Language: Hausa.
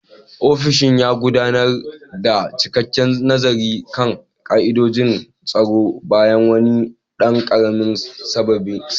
Ofishin ya gudanar da cikakken nazari kan ka'idojin tsaro bayan wani ɗan ƙaramin sabani.